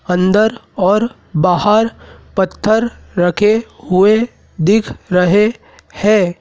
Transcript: अंदर और बाहर पत्थर रखे हुए दिख रहे हैं।